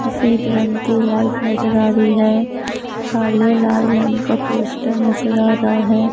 सफेद रंग की लाइट नजर आ रही है काले लाले रंग का पोस्टर नजर आ रहा है।